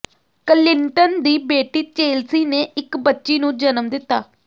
Clinton ਦੀ ਬੇਟੀ Chelsea ਨੇ ਇੱਕ ਬੱਚੀ ਨੂੰ ਜਨਮ ਦਿੱਤਾ